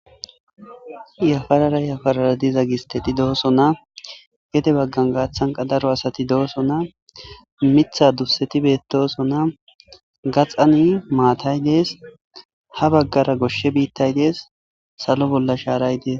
yafarara yafarara diza gisteti dooso na gede baggan gaathanqa daro asati dooso na mitha duseti beettoso na gaxani maatay dees ha baggara goshshe biittay dees salo bolla shaaray dees